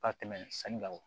Ka tɛmɛ sanni kan